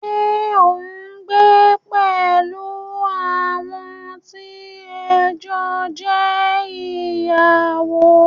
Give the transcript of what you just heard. Ṣé o n gbé pẹ̀lú àwọn tí ẹ jọ jẹ́ ìyàwó?